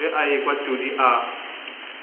ge a ekwa todi a